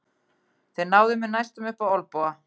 Þeir náðu mér næstum upp á olnboga.